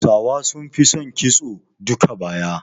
Hausawa sun fi son kitson duka-baya